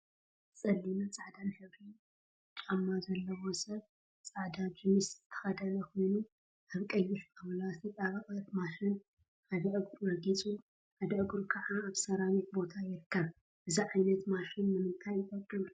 ፀሊምን ፃዕዳን ሕብሪ ጫማ ዘለዎ ሰብ ፃዕዳ ጅኑስ ዝተከደነ ኮኑ አብ ቀይሕ ጣውላ ዝተጣበቀት ማሽን ሓደ እግሩ ረጊፁ ሓደ እግሩ ከዓ አብ ሰራሚክ ቦታ ይርከብ፡፡ እዚ ዓይነት ማሽን ንምንታይ ይጠቅም?